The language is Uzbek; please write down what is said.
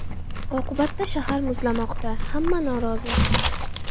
Oqibatda shahar muzlamoqda, hamma norozi.